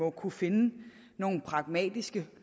at kunne finde nogle pragmatiske